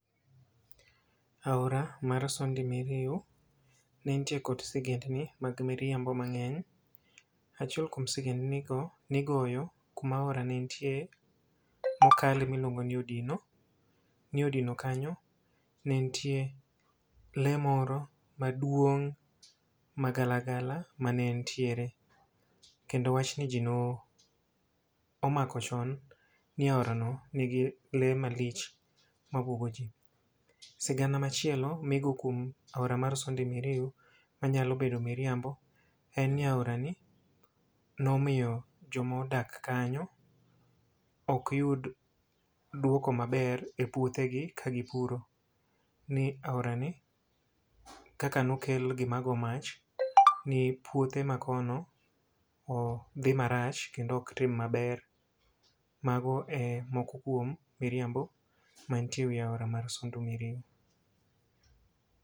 Aora mar Sondu Miriu, ne ntie kod sigendni mag miriambo mang'eny. Achiel kuom sigendni go nigoyo kuma aora ni nitie mokale miluongo ni Odino. Ni Odino kanyo ne ntie lee moro maduong' magala gala mane ntiere. Kendo wachni ji no omako chon, ni aora no nigi le malich ma bwogo ji. Sigana machielo migo kuom aora mar Sondi Miriu manyalo bedo miriambo, en ni aora ni nomiyo jomodak kanyo ok yud dwoko maber e puothe gi ka gipuro. Ni aorani kaka nokel gima go mach ni puothe ma kono dhi marach kendo ok tim maber. Mago e moko kuom miriambo mantie e wi aora mar Sondu Miriu.